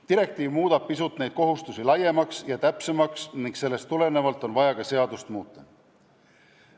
Direktiiv muudab need kohustused pisut laiemaks ja täpsemaks ning sellest tulenevalt on vaja ka seadust muuta.